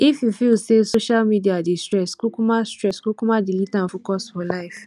if you feel sey social media dey stress kukuma stress kukuma delete am focus for life